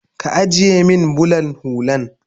Ka ajiye min bulan hullan